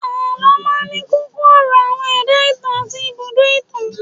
Àlọ́ máa ń ní kókó ọ̀rọ̀, àwọn ẹ̀dá ìtàn àti ibùdó itan